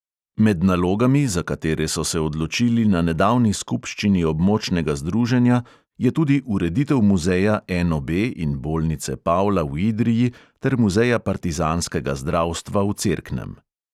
Med nalogami, za katere so se odločili na nedavni skupščini območnega združenja, je tudi ureditev muzeja NOB in bolnice pavla v idriji ter muzeja partizanskega zdravstva v cerknem.